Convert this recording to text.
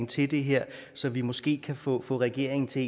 til det her så vi måske kan få regeringen til